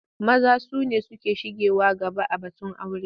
Maza su ne suke shigewa gaba a batun aura.